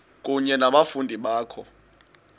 kunye nabafundi bakho